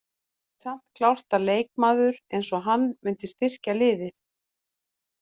Það er samt klárt að leikmaður eins og hann myndi styrkja liðið.